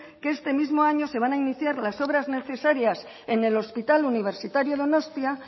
que este mismo año se van a iniciar las obras necesarias en el hospital universitario donostia